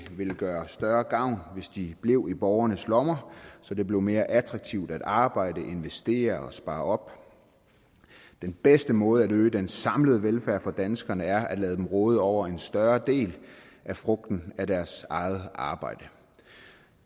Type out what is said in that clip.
ville gøre større gavn hvis de blev i borgernes lommer så det blev mere attraktivt at arbejde investere og spare op den bedste måde at øge den samlede velfærd for danskerne på er at lade dem råde over en større del af frugten af deres eget arbejde